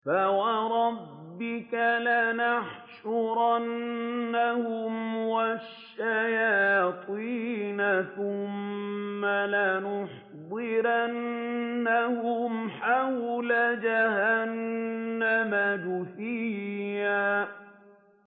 فَوَرَبِّكَ لَنَحْشُرَنَّهُمْ وَالشَّيَاطِينَ ثُمَّ لَنُحْضِرَنَّهُمْ حَوْلَ جَهَنَّمَ جِثِيًّا